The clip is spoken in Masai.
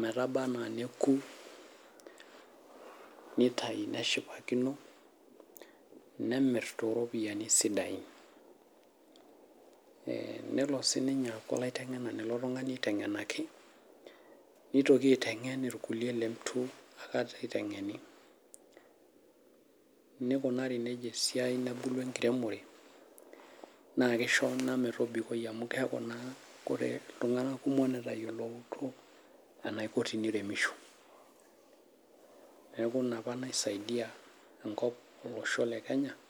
metabaa anaa neaku nitau neshipakino nemir too ropiani sidain, nelo sininye aitamok ilkuliek letu aikata eutuing'eni. neikunari neja esiai nebulu enkiremore, amuu etayoloutuo iltung'anak kumok eneiko peiremisho te kenya.